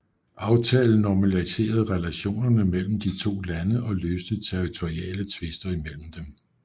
Aftalen normaliserede relationerne mellem de to lande og løste territoriale tvister imellem dem